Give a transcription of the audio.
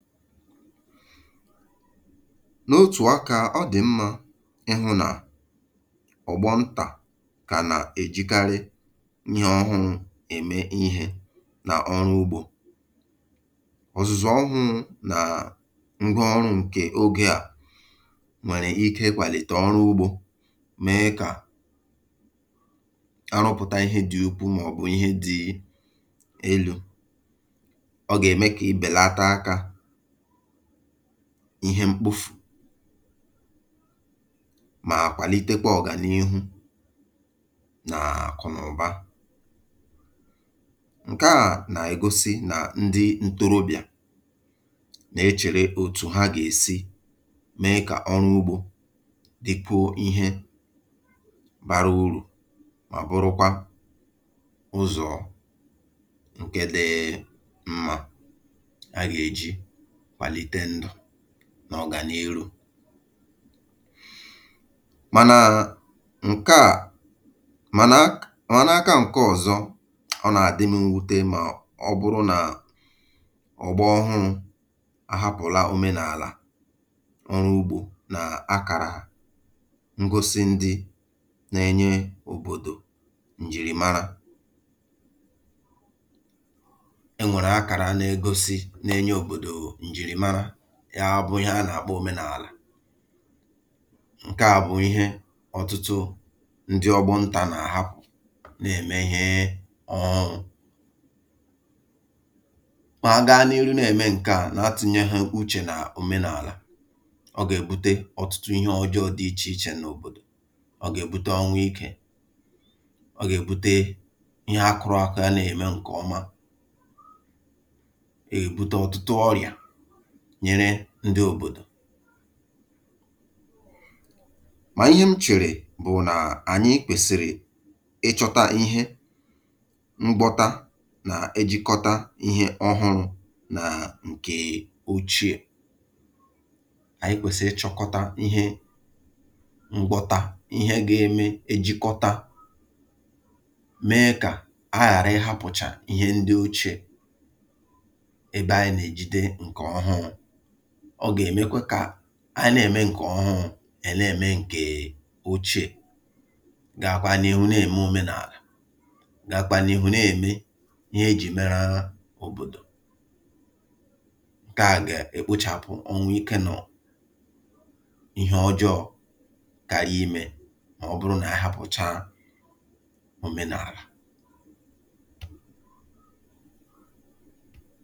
N’otù akȧ, ọ dị̀ mmȧ ịhụ̇ nà ọ̀gbọ ntà kà nà-èjikarị ihe ọhụrụ̇ ème ihė n’ọrụ ugbȯ. Ọzụ̀zụ̀ ọhụrụ̇ nà ngwa ọrụ̇ ǹkè ogė à nwèrè ike kwàlìtè ọrụ ugbȯ mee kà arụpụ̀ta ihe dị̇ ukwu màọ̀bụ̀ ihe dị̇ elu̇. Ọ ga-eme kibelata aka ihe mkpofù mà kwàlitekwa ọ̀gànihu nà àkụ̀nàụ̀ba. Nke à nà-egosi nà ndị ntorobịà nà-echèrè òtù ha gà-èsi mee kà ọrụ ugbȯ dịkwuo ihe bara urù mà bụrụkwa ụzọ̀ nke dị mma a gà-èji kwàlite ndụ na ọgàn’ihu. Mànà ǹke à mànà akà nkė ọ̀zọ, ọ nà-àdị m mwute mà ọ bụrụ nà ọ̀gbọ̀ ọhụrụ̇ ahapụ̀la òmenàlà ọrụ̀ ugbȯ nà akàrà ngosi ndị nà-enye òbòdò njìrìmarà. E nwere akara na-egosi obodo njirimara, ya bụ ihe a na-akpọ omenala. Nke à bụ̀ ihe ọtụtụ ndị ọgbọ ntà na-ahapụ̀ na-eme ihe um ọ̀ṅụ. Ma aga n’ihu na-eme nke à na-atụ̀nyehụ uche na omenala, ọ ga-ebute ọtụtụ ihe ọjọọ dị iche iche n’òbodò. Ọ ga-ebute ọnwụ ike, ọ ga-ebute ihe a kụrụakụ a na-eme nke ọma, ọ ga-ebụta ọtụtụ ọrịà nyere ndị òbòdò. Mà ihe m chèrè bụ̀ nà ànyị kwèsị̀rị̀ ịchọta ihe mgbọta nà-ejikọta ihe ọhụrụ̇ nà ǹkè ochie, ànyị kwèsị̀rị ịchọkọta ihe mgbọta ihe ga-eme ejikọta mee kà a ghàrị ịhapụ̀cha ihe ndị ochie ebe anyị na-ejide nke ọhụrụ. Ọ gà-èmekwa kà a na-ème ǹkè ọhụrụ̇, è na-ème ǹkè ochiè, gàkwa n’ihu na-ème òmenàlà, gàkwa n’ihu na-ème ihe ejì mara òbòdò. Nke à gà-èkpochàpụ ọnwụ ikė na ihe ọjọọ̇ kàrà imė mà ọ bụrụ nà ahapụ̀cha òmenàlà.